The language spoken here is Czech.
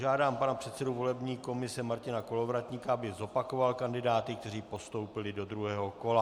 Žádám pana předsedu volební komise Martina Kolovratníka, aby zopakoval kandidáty, kteří postoupili do druhého kola.